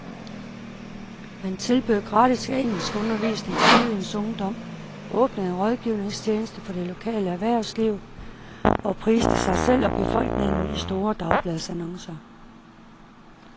Man tilbød gratis engelskundervisning til byens ungdom, åbnede en rådgivningstjeneste for det lokale erhvervsliv og priste sig selv og befolkningen i store dagbladsannoncer.